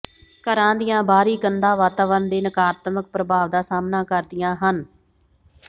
ਘਰਾਂ ਦੀਆਂ ਬਾਹਰੀ ਕੰਧਾਂ ਵਾਤਾਵਰਣ ਦੇ ਨਕਾਰਾਤਮਕ ਪ੍ਰਭਾਵ ਦਾ ਸਾਹਮਣਾ ਕਰਦੀਆਂ ਹਨ